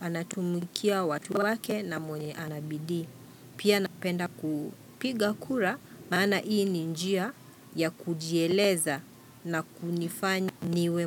anatumikia watu wake na mwenye anabidii. Pia napenda kupiga kura, maana ii ni njia ya kujieleza na kunifanya niwe mwe.